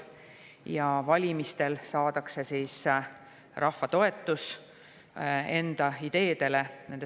Ja valimistel saavad needsamad vabad erakonnad rahva toetuse enda ideedele.